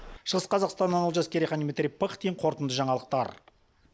шығыс қазақстаннан олжас керейхан дмитрий пыхтин қорытынды жаңалықтар